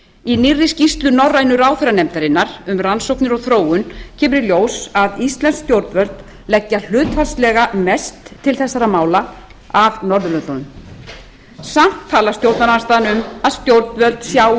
í nýrri skýrslu norrænu ráðherranefndarinnar um rannsóknir og þróun kemur í ljós að íslensk stjórnvöld leggja hlutfallslega mest til þessara mála af norðurlöndunum samt talar stjórnarandstaðan um að stjórnvöld sjái